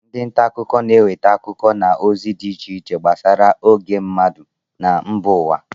Ndị ntaakụkọ na-eweta akụkọ na ozi dị iche iche gbasara ógbè mmadụ na mba ụwa